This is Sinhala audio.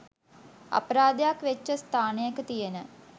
අපරාධයක් වෙච්ච ස්ථානයක තියන